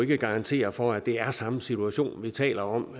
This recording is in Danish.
kan garantere for at det er den samme situation vi taler om